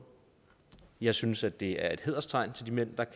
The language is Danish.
jeg synes at det er et hæderstegn til de mænd